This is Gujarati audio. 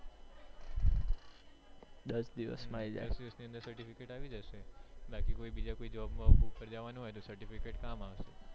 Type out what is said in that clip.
દિવસ ની અંદર certificate આવી જશે બાકી કોઈ બીજા કોઈ job ઉપ્પર જવાનું હોઉં તો certificate કામ આવશે